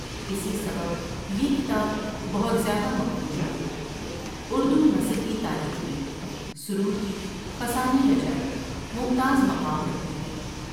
اسی سبب یہ کتاب بہت زیادہ مقبول ہوئی اردو نثر کی تاریخ میں سرور کی فسانۂ عجائب ممتاز مقام رکھتی ہے ۔